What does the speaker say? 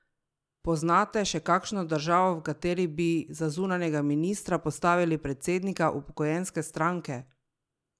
Poznate še kakšno državo, v kateri bi za zunanjega ministra postavili predsednika upokojenske stranke?